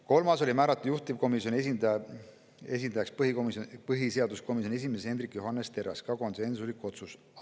Kolmandaks otsustati määrata juhtivkomisjoni esindajaks põhiseaduskomisjoni esimees Hendrik Johannes Terras, ka konsensuslik otsus.